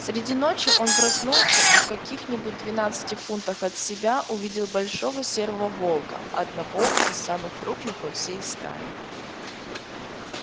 среди ночи он проснулся и в каких нибудь двенадцати фунтах от себя увидел большого серого волка одного из самых крупных во всей стае